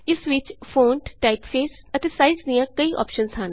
ਇਸ ਵਿਚ font typeface ਅਤੇ ਸਾਈਜ਼ ਲਈ ਕਈ ਅੋਪਸ਼ਨਸ ਹਨ